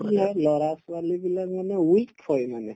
এতিয়াৰ লৰা-ছোৱালিবিলাক মানে weak হয় মানে